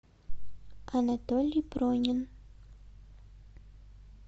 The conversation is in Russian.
анатолий пронин